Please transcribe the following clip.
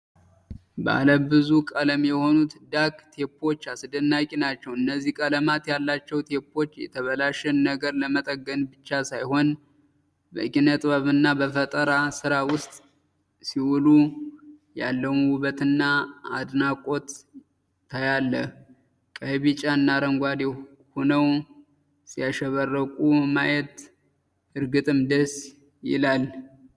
ባለ ብዙ ቀለም የሆኑት ዳክ ቴፖች አስደናቂ ናቸው! እነዚህ ቀለማት ያላቸው ቴፖች የተበላሸን ነገር ለመጠገን ብቻ ሳይሆን፣ በኪነጥበብና በፈጠራ ሥራ ውስጥ ሲውሉ ያለውን ውበትና አድናቆት ታያለህ። ቀይ፣ ቢጫና አረንጓዴ ሆነው ሲያሸበርቁ ማየት እርግጥም ደስ ይላል!